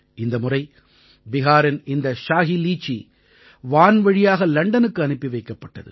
இந்த முறை பிஹாரின் இந்த ஷாஹி லீச்சி வான் வழியாக லண்டனுக்கு அனுப்பி வைக்கப்பட்டது